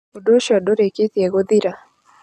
Ũndũ ũcio ndũrĩkĩtie gũthira.